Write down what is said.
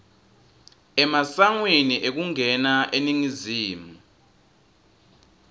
emasangweni ekungena eningizimu